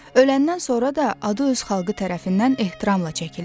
Öləndən sonra da adı öz xalqı tərəfindən ehtiramla çəkilirdi.